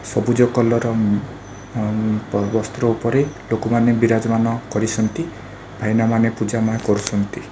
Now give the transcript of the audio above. ସବୁଜ କଲର୍‌ ର ମ ଅମ୍‌ ବସ୍ତ୍ର ଉପରେ ଲୋକ ମାନେ ବିରାଜ ମାନ କରିଛନ୍ତି ଭାଇନା ମାନେ ପୂଜା ମା କରୁଛନ୍ତି।